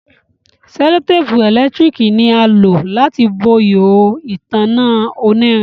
sellotape elekitiriki ni a lo láti bó ihoho ìtanná onirin.